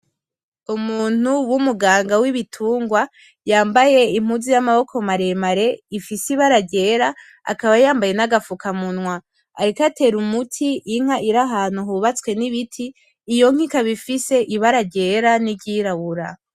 Umuntu w'umuganga w'ibitungwa yambaye impuzu y'amaboko mare mare ifise ibara ryera akaba yambaye nagafukamunwa. Ariko atera umuti inka iri ahantu hubatswe n'ibiti iyo nka ikaba ifise ibara ryera niryirabura.